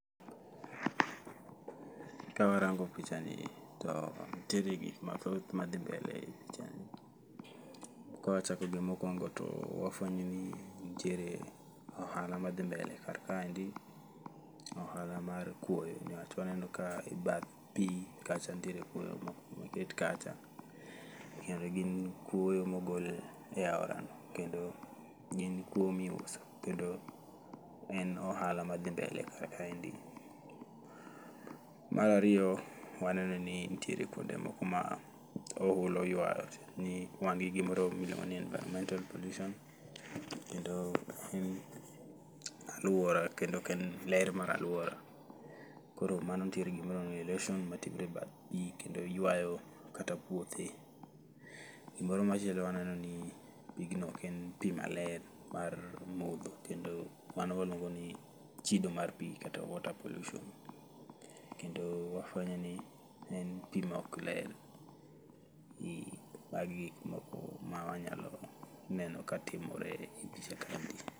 Ka warango picha ni to nitiere gik mathoth ma dhi mbele e picha ni. Kawachako gi mokwongo to wafwenyo ni nitiere ohala ma dhi mbele kar kaendi, ohala mar kuoyo. Niwach waneno ka e bath pi kacha nitiere kuoyo moket kacha, kendo gin kuoyo mogol e aorano. Kendo gin kuoyo miuso, kendo en ohala madhi mbele kar kaendi. Marariyo, waneno ni ntiere kuonde moko ma ohula oywayo ni wan gi gimoro miluongo ni environmental pollution. Kendo en alwora kendo ok en ler mar alwora, koro mano nitie gimiluongo ni erosion matimore e bath pi kendo ywayo kata puothe. Gimoro machielo waneno ni pigno ok en pi maler mar modho, kendo mano waluongo ni chido mar pi kata water pollution. Kendo wafwenyo ni en pi ma ok ler, e magi gik moko ma wanyalo neno ka timore e picha kaendi.